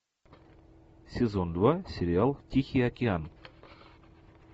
сезон два сериал тихий океан